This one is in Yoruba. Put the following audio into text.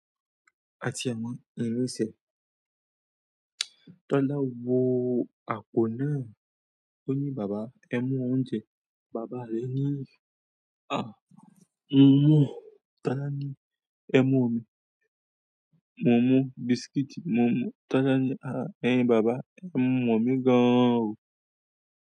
Àti ẹ mọ, lẹ rẹ sẹ. Tọ́lá wo àpò náà, ó ní, "bàba ẹ mú oúnjẹ." Bàbá rẹ̀ ní, "à, mo mú." Tola ni ẹmu omí "Mo mú biscuit mo mú." Tọ́lá ní, "à, ẹyin bàba ẹ mọ mi gán o."